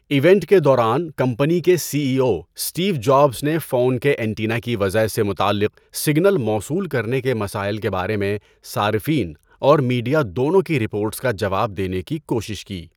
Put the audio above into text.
Event کے دوران، company کے C E O Steve Jobs نے فون کے اینٹینا کی وضع سے متعلق سگنل موصول کرنے کے مسائل کے بارے میں صارفین اور میڈیا دونوں کی رپورٹس کا جواب دینے کی کوشش کی۔